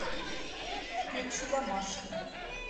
включи домашний